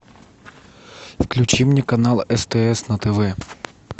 включи мне канал стс на тв